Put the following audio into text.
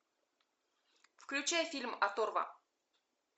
включай фильм оторва